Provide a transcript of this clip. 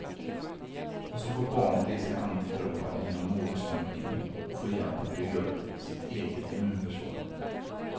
Och så får barnet i sig antikroppar genom modersmjölken, och får hjälp att bygga upp sitt eget immunförsvar.